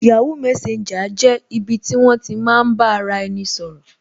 yahoo messenger jẹ́ ibi ti won ti maa n ba ara eni sọ̀rọ̀